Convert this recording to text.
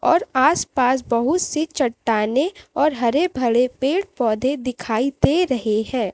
और आस पास बहुत से चट्टानें और हरे भरे पेड़ पौधे दिखाई दे रहे हैं।